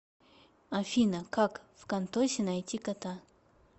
афина как вконтосе найти кота